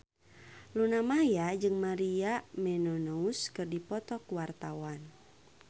Luna Maya jeung Maria Menounos keur dipoto ku wartawan